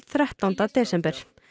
þrettánda desember